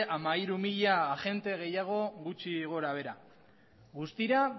hamairu mila agente gutxi gora behera guztira